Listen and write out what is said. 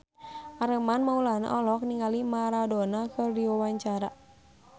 Armand Maulana olohok ningali Maradona keur diwawancara